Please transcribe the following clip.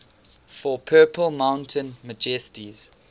for purple mountain majesties